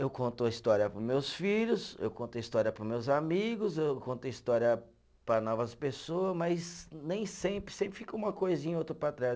Eu conto a história para os meus filhos, eu conto a história para os meus amigos, eu conto a história para novas pessoas, mas nem sempre, sempre fica uma coisinha ou outra para trás.